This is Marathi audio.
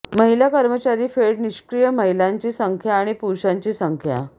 महिला कर्मचारी फेड निष्क्रीय महिलांची संख्या आणि पुरुषांची संख्या